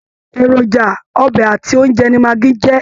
Èròjà ọbẹ àti oúnjẹ ni magi jẹ.